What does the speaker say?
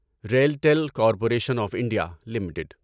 RailTel Corporation of India limited